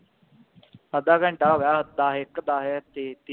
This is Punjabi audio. ਅੱਧਾ ਘੰਟਾ ਹੋਗਿਆ ਦਸ ਇਕ ਦਸ